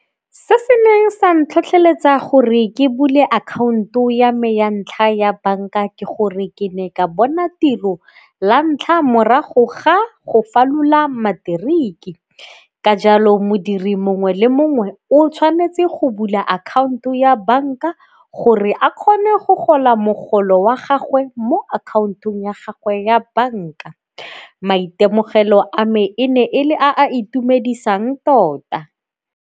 Se se neng sa ntlhotlheletsa gore ke bule akhaonto ya me ya ntlha ya banka ke gore ke ne ka bona tiro la ntlha morago ga go falola matric-i. Ka jalo modiri mongwe le mongwe o tshwanetse go bula akhaonto ya banka gore a kgone go gola mogolo wa gagwe mo akhaontong ya gagwe ya banka. Maitemogelo a me e ne e le a itumedisang tota.